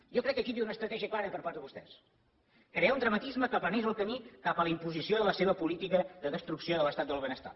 jo crec que aquí hi havia una estratègia clara per part de vostès crear un dramatisme que aplanés el camí cap a la imposició de la seva política de destrucció de l’estat del benestar